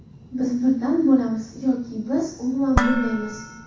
Biz birdam bo‘lamiz, yoki biz umuman bo‘lmaymiz.